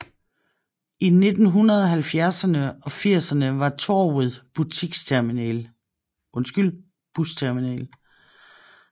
I 1970erne og 80erne var torvet busterminal